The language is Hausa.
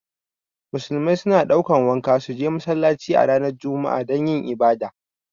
Musulmai su na ɗaukan wanka su je masallaci a ranar juma'a dan yin ibada